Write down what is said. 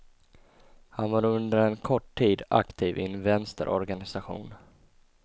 Han var under en kort tid aktiv i en vänsterorganisation.